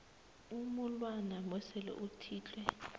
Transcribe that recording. umulwana besele uthinte